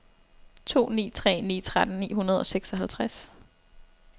to ni tre ni tretten ni hundrede og seksoghalvtreds